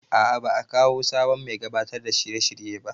A'a ba a kawo sabon mai gabatar da shirye shirye ba